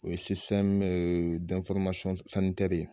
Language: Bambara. O y